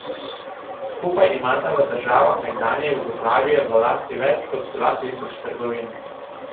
Skupaj imata v državah nekdanje Jugoslavije v lasti več kot dva tisoč trgovin.